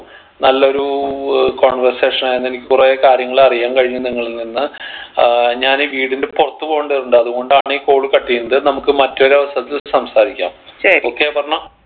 നല്ലൊരു ഏർ conversation ആയിരുന്നു എനിക്ക് കുറേ കാര്യങ്ങൾ അറിയാൻ കഴിഞ്ഞു നിങ്ങളിൽ നിന്ന് ഏർ ഞാനീ വീടിൻ്റെ പുറത്ത് പോകണ്ടതുണ്ട് അത്കൊണ്ടാണ് ഈ call cut എയ്യുന്നത് നമ്മുക്ക് മറ്റൊരു അവസരത്തിൽ സംസാരിക്കാം okay അപർണ